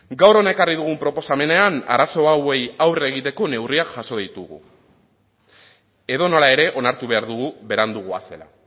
gaur hona ekarri dugun proposamenean arazo hauei aurre egiteko neurriak jaso ditugu edonola ere onartu behar dugu berandu goazela